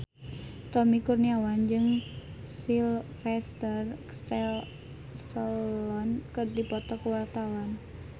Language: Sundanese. Tommy Kurniawan jeung Sylvester Stallone keur dipoto ku wartawan